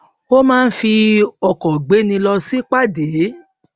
ó máa ń fi ọkò gbéni lọ sípàdé